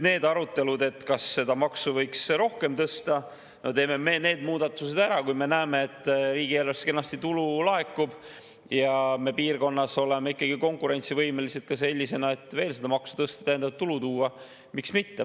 Nende arutelude kohta, et kas seda maksu võiks rohkem tõsta: teeme need muudatused ära ja kui me näeme, et riigieelarvesse tulu kenasti laekub ja me oleme piirkonnas konkurentsivõimelised ka siis, kui veel seda maksu tõsta ja täiendavat tulu tuua, siis miks mitte.